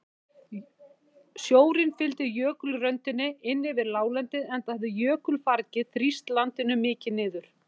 Sjórinn fylgdi jökulröndinni inn yfir láglendið enda hafði jökulfargið þrýst landinu mikið niður.